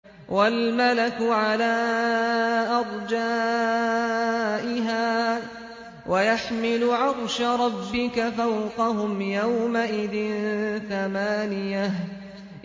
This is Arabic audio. وَالْمَلَكُ عَلَىٰ أَرْجَائِهَا ۚ وَيَحْمِلُ عَرْشَ رَبِّكَ فَوْقَهُمْ يَوْمَئِذٍ ثَمَانِيَةٌ